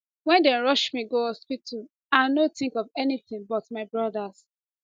wen dem rush me go hospital i no think of anything but my brothers